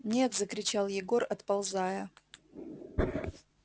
нет закричал егор отползая